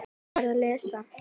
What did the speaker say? Hún var að lesa